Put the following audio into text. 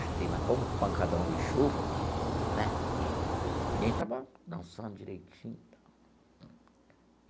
Gostei mas com um pancadão de chuva né, ninguém estava dançando direitinho e tal.